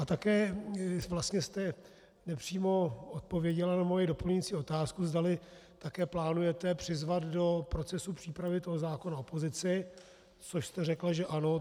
A také vlastně jste nepřímo odpověděla na moji doplňující otázku, zdali také plánujete přizvat do procesu přípravy toho zákona opozici, což jste řekla, že ano.